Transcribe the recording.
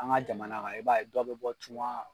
An ka jamana kan i b'a ye dɔ bɛ bɔ cunga